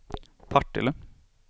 Partille